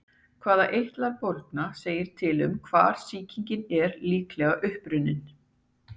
Hvaða eitlar bólgna segir til um hvar sýkingin er líklega upprunnin.